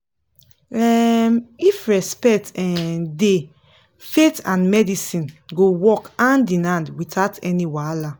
um if respect um dey faith and medicine go work hand in hand without any wahala